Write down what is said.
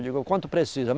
Eu digo, quanto precisa?